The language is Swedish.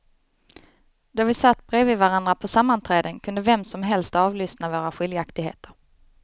Då vi satt bredvid varandra på sammanträden kunde vem som helst avlyssna våra skiljaktigheter.